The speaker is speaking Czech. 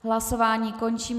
Hlasování končím.